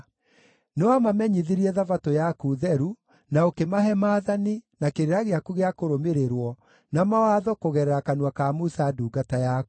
Nĩwamamenyithirie Thabatũ yaku theru na ũkĩmahe maathani, na kĩrĩra gĩaku gĩa kũrũmĩrĩrwo, na mawatho kũgerera kanua ka Musa ndungata yaku.